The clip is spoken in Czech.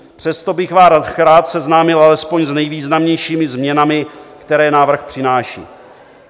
Přesto bych vás rád seznámil alespoň s nejvýznamnějšími změnami, které návrh přináší.